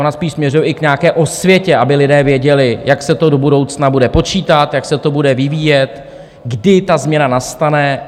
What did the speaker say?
Ona spíš směřuje i k nějaké osvětě, aby lidé věděli, jak se to do budoucna bude počítat, jak se to bude vyvíjet, kdy ta změna nastane.